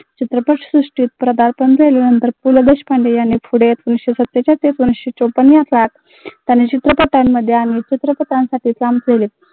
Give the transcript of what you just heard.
चित्रपट सृष्टीत पदार्पण केल्यानंतर पु ल देशपांडे यांनी पुढे एकोणविसशे सत्तेचाळीस ते एकोणविसशे चौपन्न त्यांनी चित्रपटांमध्ये आणि चित्रपटांसाठी काम केले.